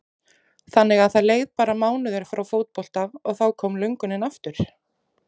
Þannig að það leið bara mánuður frá fótbolta og þá kom löngunin aftur?